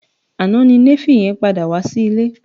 Àná ni Néfì yẹn padà wá sí ilé